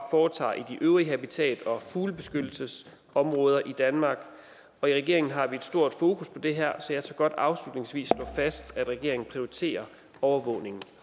foretager i de øvrige habitat og fuglebeskyttelsesområder i danmark og i regeringen har vi et stort fokus på det her så jeg tør godt afslutningsvis slå fast at regeringen prioriterer overvågning